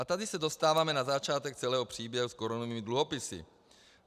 A tady se dostáváme na začátek celého příběhu s korunovými dluhopisy.